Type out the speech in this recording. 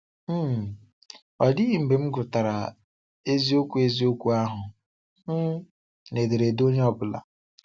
um Ọ dịghị mgbe m gụtara eziokwu eziokwu ahụ um n'ederede onye ọbụla.